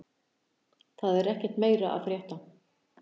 Það er ekkert meira að frétta